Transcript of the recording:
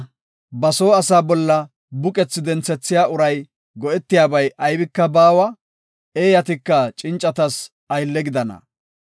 Ba soo asaa bolla buqethi denthiya uray go7etiyabay aybika baawa. Eeyatika cincatas aylle gidana.